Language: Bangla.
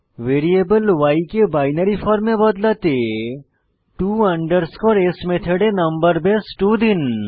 ভ্যারিয়েবল y কে বাইনারি ফর্মে বদলাতে to s মেথডে নম্বর বেস 2 দিন